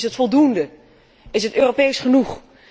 Is dat voldoende? Is het Europees genoeg?